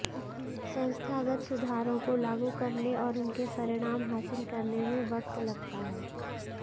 संस्थागत सुधारों को लागू करने और उनके परिणाम हासिल करने में वक्त लगता है